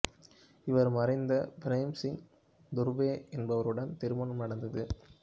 இவர் மறைந்த பிரேம் சிங் துர்வே என்பவருடன் திருமணம் நடந்தது